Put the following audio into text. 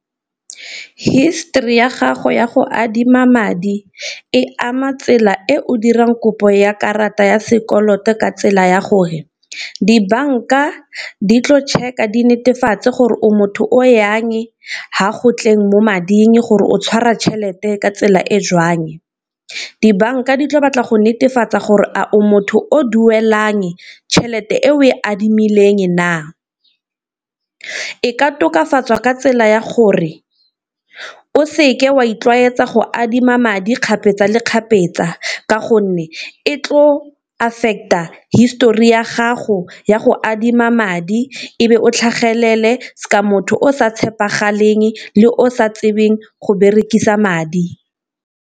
History ya gago ya go adima madi e ama tsela e o dirang kopo ya karata ya sekoloto ka tsela ya gore, dibanka di tlo check-a di netefatse gore o motho o jang fa go tleng mo mading, gore o tshwara tšhelete ka tsela e jwang, dibanka di tlo batla go netefatsa gore a o motho o duelang tšhelete e o e adimileng na. E ka tokafatswa ka tsela ya gore o seke wa itlwaetsa go adima madi kgapetsa le kgapetsa, ka gonne e tlo affect-a histori ya gago ya go adima madi, ebe o tlhagelela sa motho o sa tshepagaleng le o sa tsebeng go berekisa madi.